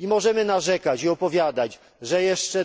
Możemy narzekać i opowiadać, że jeszcze